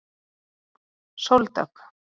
Sóldögg